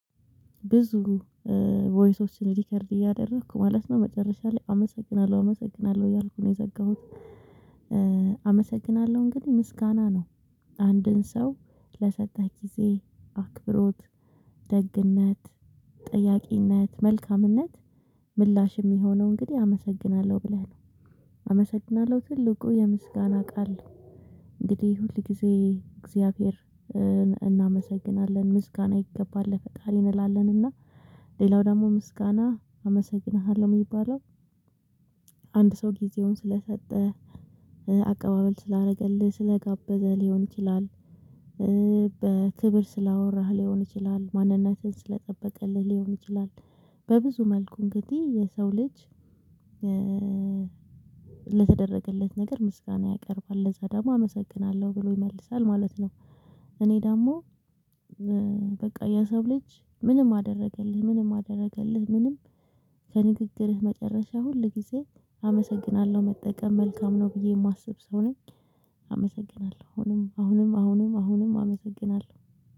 ብዙ ቮይሶችን ሪከርድ እያደረኩ ማለት ነው መጨረሻ ላይ አመሰግናለሁ አመሰግናለሁ እያልኩ ነው የዘጋሁት። አመሰግናለሁ እንግዲህ ምስጋና ነው አንድን ሰው ለሰጠህ ጊዜ አክብሮት ደግነት ጠያቂነት መልካምነት ምላሽ የሚሆነው እንግዲህ አመሰግናለሁ ብለህ ነው። አመሰግናለሁ ትልቁ የምስጋና ቃል ነው። እንግዲህ ሁል ጊዜ እግዚአብሔርን እናመሰግናለን ምስጋና ይገባል ለፈጣሪ ይባላል እና ሌላው ደግሞ ምስጋና አመሰግንሃለሁ የሚባለው አንድ ሰው ጊዜውን ስለሰጠ ስለሰጠህ አቀባበል ስላደረገልህ ስለጋበዘህ ሊሆን ይችላል። በክብር ስላወራህ ሊሆን ይችላል ማንነትህን ስለጠበቀልህ ሊሆን ይችላል። በብዙ መልኩ እንግዲህ የሰው ልጅ ለተደረገለት ነገር ምስጋና ያቀርባል ለዛ ደግሞ አመሰግናለሁ ብሎ ይመልሳል ማለት ነው። እኔ ደግሞ በቃ የሰው ልጅ ምንም አደረገልህ ምንም አደረገልህ ምንም ከንግግርህ መጨረሻ ሁል ጊዜ አመሰግናለሁ መጠቀም መልካም ነው ብዬ የማስብ ሰው ነኝ። አመሰግናለሁ አሁንም አሁንም አሁንም አሁንም አመሰግናለሁ